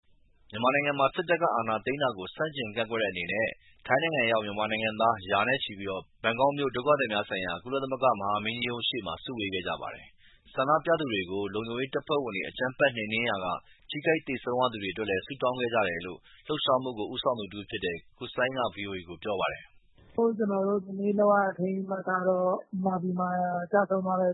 မြန်မာနိုင်ငံမှာ စစ်တပ်က အာဏာသိမ်းတာကို ဆန့်ကျင်ကန့်ကွက်တဲ့ အနေနဲ့ ထိုင်းနိုင်ငံရောက် မြန်မာနိုင်ငံသား ရာနဲ့ချီပြီး ဘန်ကောက်မြို့ ဒုက္ခသည်များဆိုင်ရာ ကုလသမဂ္ဂ မဟာမင်းကြီးရုံးရှေ့မှာ စုဝေးခဲ့ကြပါတယ်။ ဆန္ဒပြသူတွေကို လုံခြုံရေးတပ်ဖွဲ့တွေ အကြမ်းဖက် နှိမ်နင်းရာက ထိခိုက်သေဆုံးရသူတွေ အတွက်လည်း ဆုတောင်းခဲ့ကြတယ်လို့ လှုပ်ရှားမှုကို ဦးဆောင်သူ တဦးဖြစ်တဲ့ ကိုစိုင်းက ဗွီအိုအေကို ပြောပါတယ်။ “ကျနော်တို့ ဒီနေ့လုပ်ရတဲ့ အထိမ်းအမှတ်ကတော့ မြန်မာပြည်မှာကျဆုံးသွားတဲ့